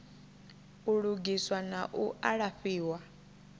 u lugiswa na u alafhiwa